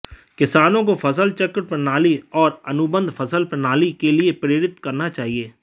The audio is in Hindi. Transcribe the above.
किसानों को फसल चक्र प्रणाली और अनुबंध फसल प्रणाली के लिए प्रेरित करना चाहिए